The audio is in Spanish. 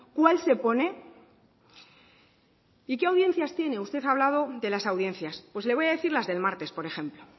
cuál se pone y qué audiencias tiene usted ha hablado de las audiencias pues le voy a decir las del martes por ejemplo